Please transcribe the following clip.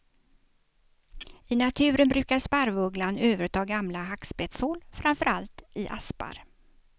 I naturen brukar sparvugglan överta gamla hackspetthål, framför allt i aspar.